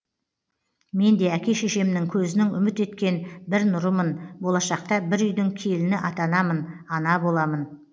мен де әке шешемнің көзінің үміт еткен бір нұрымын болашақта бір үйдің келіні атанамын ана боламын